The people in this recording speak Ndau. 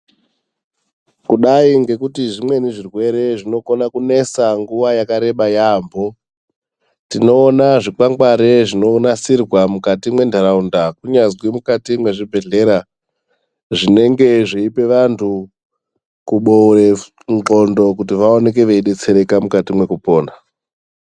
Kudai ngekuti zvimweni zvirwere zvinokona kunesa nguwa yakareba yaambo, tinoona zvikwangwari zvinonasirwa mukati mwentaraunda kunyazwi mukati mwezvibhedhlera zvinenge zveipe vantu kuboore ndxondo kuti vaoneke veidetsereka mukati mwekupona.